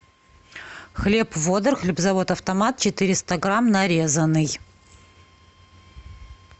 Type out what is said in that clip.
хлеб водор хлебозавод автомат четыреста грамм нарезанный